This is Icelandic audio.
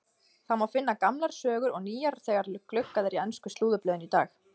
Það má finna gamlar sögur og nýjar þegar gluggað er í ensku slúðurblöðin í dag.